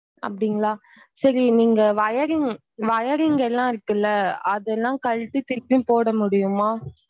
அப்படீங்களா சேரி நீங்க wiring wiring லாம் இருக்குல அது எல்லாம் கலட்டி திருப்பியும் போட முடயும்மா?